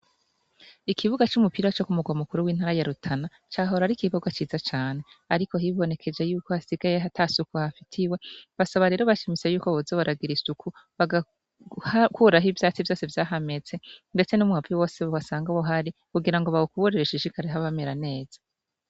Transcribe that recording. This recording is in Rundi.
Ikibuga cumupira cokumurwa mukuru wintara ya rutana cahora ari ikibuga ciza cane ariko hibonekeje yuko hasigaye atasuku hafitiwe basaba rero bashimitse yuko boza baragira isuku bagakuraho ivyatsi vyose vyahameze ndetse numwavu wose wasanga uhari kugira ngo bawukubure hashishikare hamera neza